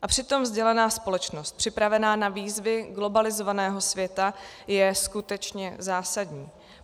A přitom vzdělaná společnost připravená na výzvy globalizovaného světa je skutečně zásadní.